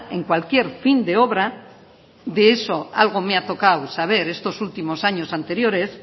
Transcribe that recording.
en cualquier fin de obra de eso algo me ha tocado saber estos últimos anteriores